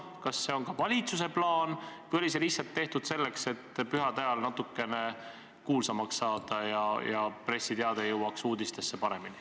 Kas see on ka valitsuse plaan või oli see lihtsalt välja käidud selleks, et pühade ajal natukene kuulsamaks saada ja pressiteade jõuaks kenasti uudistesse?